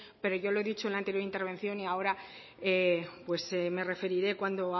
pero yo he dicho en la anterior intervención y ahora me referiré cuando